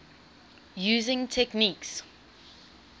using techniques